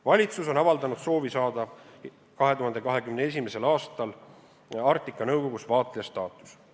Valitsus on avaldanud soovi saada 2021. aastal Arktika Nõukogus vaatleja staatus.